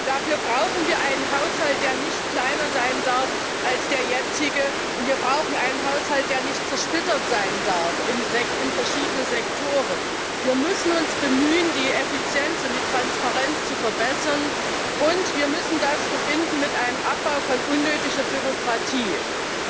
Dafür brauchen wir einen Haushalt, der nicht kleiner sein darf als der jetzige, und wir brauchen einen Haushalt, der nicht in verschiedene Sektoren zersplittert sein darf. Wir müssen uns bemühen, die Effizienz und die Transparenz zu verbessern, und wir müssen das mit einem Abbau von unnötiger Bürokratie verbinden.